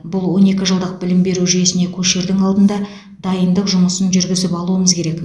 бұл он екі жылдық білім беру жүйесіне көшердің алдында дайындық жұмысын жүргізіп алуымыз керек